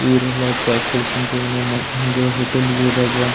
ಇವ್ರು ಎಲ್ಲ ಚಾ ಕುಡ್ಕೊಂತ ಏನೋ ಹಿಂಗ ಹೋಟೆಲ್ ಹೋದಾಗ.